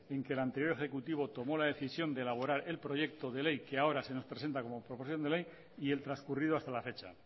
en que el anterior ejecutivo tomó la decisión de elaborar el proyecto de ley que ahora se nos presenta como proposición de ley y el transcurrido hasta la fecha